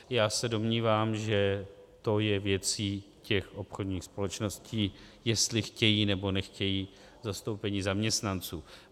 Já se domnívám, že to je věcí těch obchodních společností, jestli chtějí, nebo nechtějí zastoupení zaměstnanců.